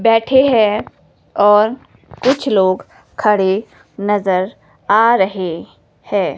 बैठे हैं और कुछ लोग खड़े नजर आ रहे है।